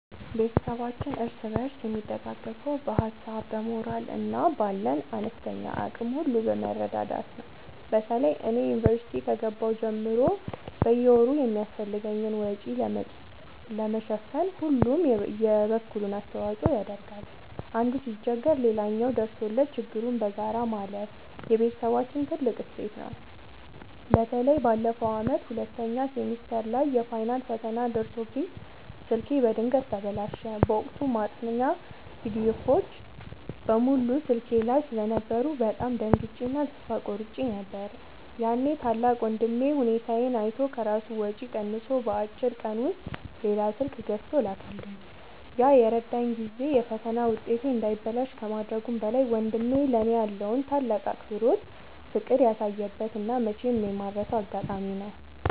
ቤተሰባችን እርስ በርስ የሚደጋገፈው በሀሳብ፣ በሞራል እና ባለን አነስተኛ አቅም ሁሉ በመረዳዳት ነው። በተለይ እኔ ዩኒቨርሲቲ ከገባሁ ጀምሮ በየወሩ የሚያስፈልገኝን ወጪ ለመሸፈን ሁሉም የበኩሉን አስተዋጽኦ ያደርጋል። አንዱ ሲቸገር ሌላው ደርሶለት ችግሩን በጋራ ማለፍ የቤተሰባችን ትልቅ እሴት ነው። በተለይ ባለፈው ዓመት ሁለተኛ ሴሚስተር ላይ የፋይናል ፈተና ደርሶብኝ ስልኬ በድንገት ተበላሸ። በወቅቱ ማጥኛ ፒዲኤፎች (PDFs) በሙሉ ስልኬ ላይ ስለነበሩ በጣም ደንግጬ እና ተስፋ ቆርጬ ነበር። ያኔ ታላቅ ወንድሜ ሁኔታዬን አይቶ ከራሱ ወጪ ቀንሶ በአጭር ቀን ውስጥ ሌላ ስልክ ገዝቶ ላከልኝ። ያ የረዳኝ ጊዜ የፈተና ውጤቴ እንዳይበላሽ ከማድረጉም በላይ፣ ወንድሜ ለእኔ ያለውን ትልቅ አክብሮትና ፍቅር ያሳየበት እና መቼም የማልረሳው አጋጣሚ ነው።